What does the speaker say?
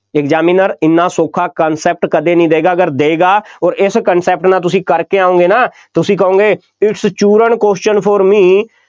examiner ਐਨਾ ਸੌਖਾ concept ਕਦੇ ਨਹੀਂ ਦੇਏਗਾ, ਅਗਰ ਦੇਏਗਾ, ਅੋਰ ਇਸ concept ਦੇ ਨਾਲ ਤੁਸੀਂ ਕਰਕੇ ਆਉਂਗੇ ਨਾ, ਤੁਸੀਂ ਕਹੋਂਗੇ its ਚੂਰਨ question for me